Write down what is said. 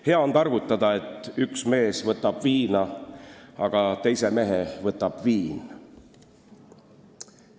Hea on targutada, et üks mees võtab viina, aga teise mehe võtab viin.